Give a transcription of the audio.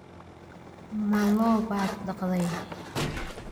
Ma lo' baad dhaqday?